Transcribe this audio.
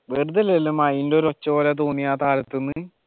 വെറുതെയല്ല വെള്ള മയിലിൻ്റെ ഒരു ഒച്ച പോലെ തോന്നിയ ആ താഴ്ത്തുന്നു